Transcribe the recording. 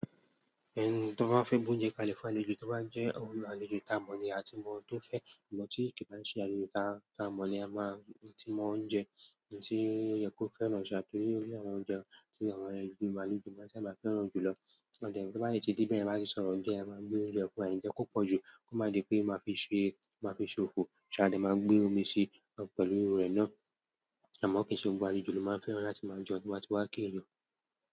Ẹni tí wọ́n bá fẹ́ búńjẹ kale f'àlejò, tí ó bá ń jẹ́ òun àlejò ta mọ̀ ni a tí mọ tó fẹ́, ìgbà tí ìpàdé ṣe àlejò ta, ta mọ̀ ni a máa, tí mọ ó ń jẹ, ohun tí ó yẹ kó fẹ́ràn ṣá, torí pé orí àwọn oúnjẹ tí àwọn ẹgbẹ́ ìgbàlejò máa ń fẹ́ràn jù lọ. Ọ̀dẹ̀ tí wọ́n bá yẹ ti díbẹ̀, a máa sì sọ̀rọ̀ óúnjẹ, a máa gbé oúnjẹ fún ẹ nígbà tí kò pọ̀ jù, kó má di pé a máa fi ṣe, máa fi ṣe òfò. Ṣé a dẹ̀ máa gbé omi sí i pẹ̀lú èrò rẹ̀ náà? Àmọ́ kí n se gbogbo àlejò ló máa ń fẹ́ràn láti máa jẹun tí wọ́n bá ti wá kì ẹ̀yàn.